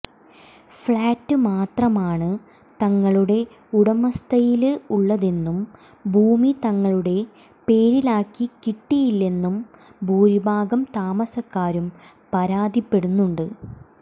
flat മാത്രമാണ് തങ്ങളുടെ ഉടമസ്ഥയില് ഉള്ളതെന്നും ഭൂമി തങ്ങളുടെ പേരിലാക്കി കിട്ടിയിട്ടില്ലെന്നു ഭൂരിഭാഗം താമസക്കാരും പരാതിപ്പെടുന്നുണ്ട്